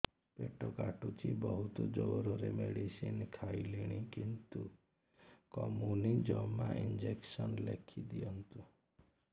ପେଟ କାଟୁଛି ବହୁତ ଜୋରରେ ମେଡିସିନ ଖାଇଲିଣି କିନ୍ତୁ କମୁନି ଜମା ଇଂଜେକସନ ଲେଖିଦିଅନ୍ତୁ